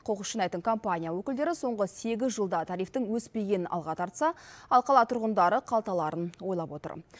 қоқыс жинайтын компания өкілдері соңғы сегіз жылда тарифтің өспегенін алға тартса ал қала тұрғындары қалталарын ойлап отыр